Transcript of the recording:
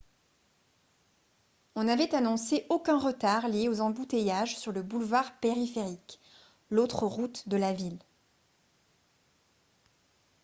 on avait annoncé aucun retard lié aux embouteillages sur le boulevard périphérique l'autre route de la ville